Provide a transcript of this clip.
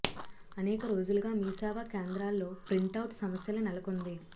అనేక రోజులుగా మీ సేవా కేంద్రాల్లో ప్రింటౌట్ సమస్యల నెలకొంది